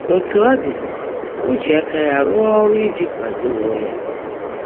Ótú ó ḍị́, ó jị áká yá rụọ́ ọ́rụ́ íjí kwádó óńwé yá.